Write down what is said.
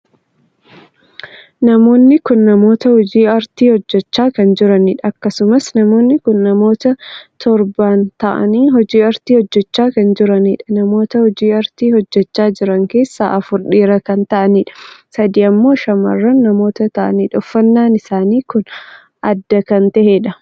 Namoonni kun namoota hojii aartii hojjechaa kan jiraniidha. akkasumas namoonnii kun namoota torban taa'anii hojii aartii hojjechaa kan jiranidha. namoota hojii aartii hojjechaa jiran keessaa afur dhiiraa kan ta'aniidha. sadii ammoo shamarran namoota ta'anidha. uffannaan isaanii kun adda kan taheedha.